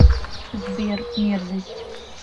сбер мерзость